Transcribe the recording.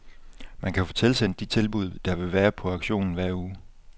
Man kan få tilsendt de tilbud, der vil være på auktionen hver uge.